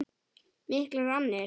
Miklar annir.